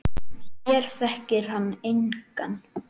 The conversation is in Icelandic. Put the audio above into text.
Hér þekkir hann engan.